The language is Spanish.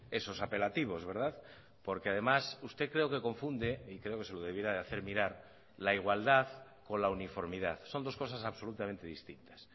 esos apelativos verdad porque además usted creo que confunde y creo que se lo debiera de hacer mirar la igualdad con la uniformidad son dos cosas absolutamente distintas